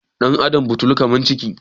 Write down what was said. ɗan' Adam butulu kamar ciki